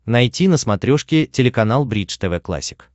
найти на смотрешке телеканал бридж тв классик